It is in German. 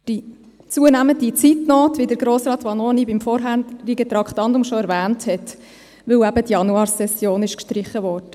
Dies wegen der zunehmenden Zeitnot, die Grossrat Vanoni bereits erwähnt hat, weil die Januarsession gestrichen wurde.